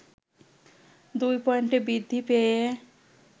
২ point বৃদ্ধি পেয়ে